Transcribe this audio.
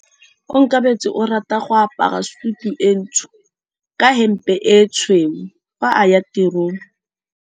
Onkabetse o rata go apara sutu e ntsho ka hempe e tshweu fa a ya tirong.